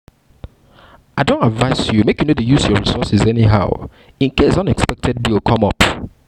i don advice you make you no dey use your resources anyhow in case unexpected bill come up